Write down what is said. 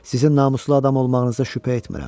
Sizin namuslu adam olmağınızda şübhə etmirəm.